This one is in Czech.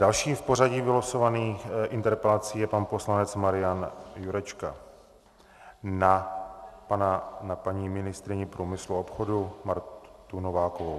Dalším v pořadí vylosovaných interpelací je pan poslanec Marian Jurečka na paní ministryni průmyslu a obchodu Martu Novákovou.